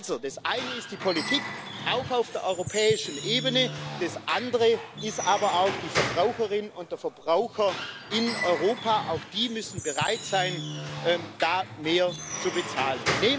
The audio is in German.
Also, das eine ist die Politik, auch auf der europäischen Ebene, das andere ist aber auch die Verbraucherin und der Verbraucher in Europa auch die müssen bereit sein, da mehr zu bezahlen.